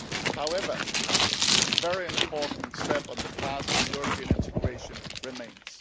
However, a very important step on the path to European integration remains.